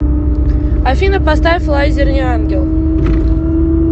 афина поставь лайзер не ангел